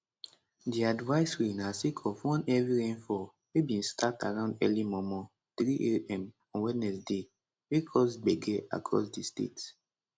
di advisory na sake of one heavy rainfall wey bin start around early mormor 300am on wednesday wey cause gbege across di state